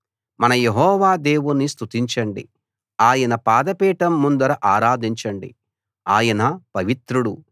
మన యెహోవా దేవుణ్ణి స్తుతించండి ఆయన పాదపీఠం ముందర ఆరాధించండి ఆయన పవిత్రుడు